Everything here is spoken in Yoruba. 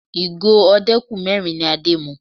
Ìgò ọdẹ́kù mẹ́rin ni Adé mu